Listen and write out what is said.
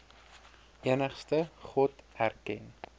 enigste god erken